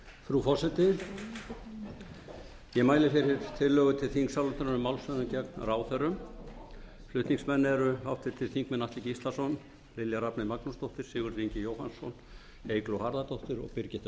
frú forseti ég mæli fyrir tillögu til þingsályktunar um málshöfðun gegn ráðherrum flutningsmenn eru háttvirtir þingmenn atli gíslason lilja rafney magnúsdóttir sigurður ingi jóhannsson eygló harðardóttir og